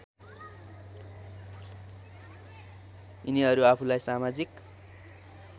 यिनीहरू आफूलाई समाजिक